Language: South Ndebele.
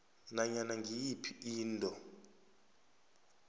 nanyana ngiyiphi into